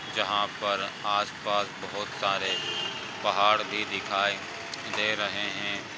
जहाँ पर आसपास बहुत सारे पहाड़ भी दिखाई दे रहे हैं।